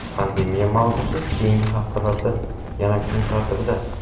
Pandemiya mavzusi keyingi haftalarda yana kun tartibida.